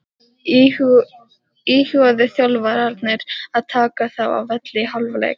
Íhuguðu þjálfararnir að taka þá af velli í hálfleik?